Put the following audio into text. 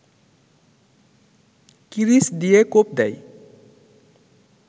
কিরিচ দিয়ে কোপ দেয়